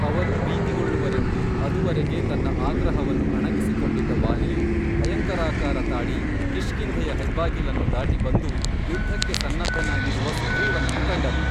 ಅವರು ಭೀತಿಗೊಳ್ಳುವರೆಂದು ಅದುವರೆಗೆ ತನ್ನ ಆಗ್ರಹವನ್ನು ಅಣಗಿಸಿಕೊಂಡಿದ್ದ ವಾಲಿಯು ಭಯಂಕರಾಕಾರ ತಾಳಿ ಕಿಷ್ಕಿಂಧೆಯ ಹೆಬ್ಬಾಗಿಲನ್ನು ದಾಟಿಬಂದು ಯುದ್ಧಕ್ಕೆ ಸನ್ನದ್ಧನಾಗಿರುವ ಸುಗ್ರೀವನನ್ನು ಕಂಡನು